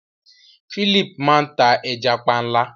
Philip máa n ta ẹja panla.